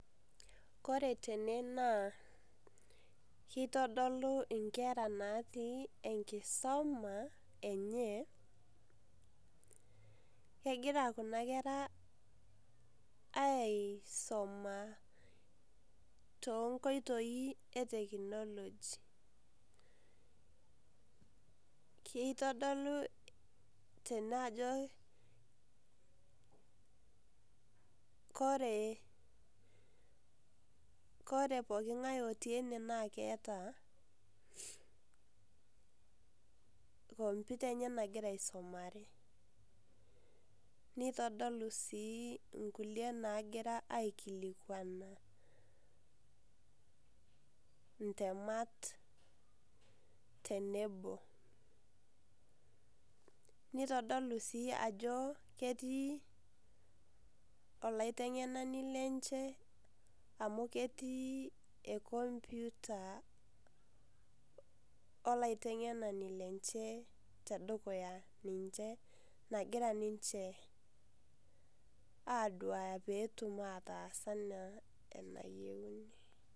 Kore tene naa, kitodolu nkera natii enkisoma enye, kegira kuna kera aisoma tonkoitoii e technology. Kitodolu tene ajo kore kore pooking'ae otii ene na keeta computer enye nagira aisomare. Nitodolu si inkulie nagira aikilikwana intemat tenebo. Nitodolu si ajo ketii olaiteng'enani lenche amu ketii e computer olaiteng'enani lenche tedukuya ninche nagira ninche aduaya petum ataas enaa enayieu.